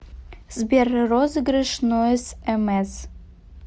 сбер розыгрыш нойз эмэс